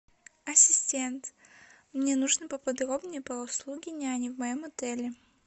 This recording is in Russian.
ассистент мне нужно поподробнее про услуги няни в моем отеле